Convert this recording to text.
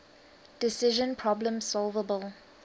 decision problems solvable